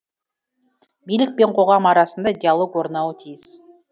билік пен қоғам арасында диалог орнауы тиіс